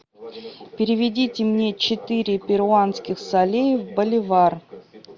переведите мне четыре перуанских солей в боливар